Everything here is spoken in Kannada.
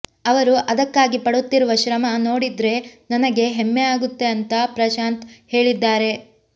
ಅವರು ಅದಕ್ಕಾಗಿ ಪಡುತ್ತಿರುವ ಶ್ರಮ ನೋಡಿದ್ರೆ ನನಗೆ ಹೆಮ್ಮೆ ಆಗುತ್ತೆ ಅಂತಾ ಪ್ರಶಾಂತ್ ಹೇಳಿದ್ದಾರೆ